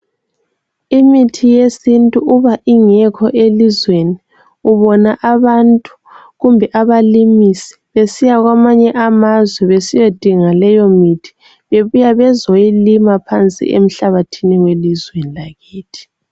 Imithi yesintu uba ingekho elizweni ubona abantu kumbe abalimisi besiya kwamanye amazwe besiyadinga leyomithi bebuya bezoyilima phansi emhlabathini welizweni lakithi.